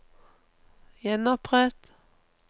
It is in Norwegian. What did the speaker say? gjenopprett